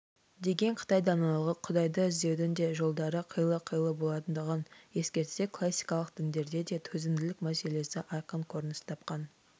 деген қытай даналығы құдайды іздеудің де жолдары қилы-қилы болатындығын ескертсе классикалық діндерде де төзімділік мәселесі айқын көрініс тапқан